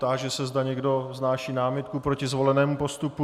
Táži se, zda někdo vznáší námitku proti zvolenému postupu.